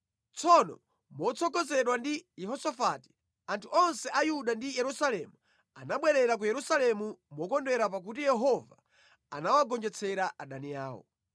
Tsono motsogozedwa ndi Yehosafati, anthu onse a Yuda ndi Yerusalemu anabwerera ku Yerusalemu mokondwera pakuti Yehova anawagonjetsera adani awo.